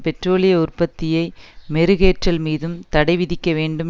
பெற்றோலிய உற்பத்தியை மெருகேற்றல் மீதும் தடை விதிக்க வேண்டும்